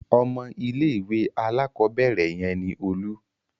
Ọmọ ilé-ìwé alákọ̀ọ́bẹ̀rẹ̀ yẹn ni Olú.